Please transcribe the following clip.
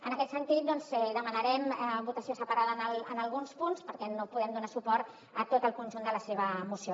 en aquest sentit doncs demanarem votació separada en alguns punts perquè no podem donar suport a tot el conjunt de la seva moció